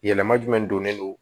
Yɛlɛma jumɛn donnen don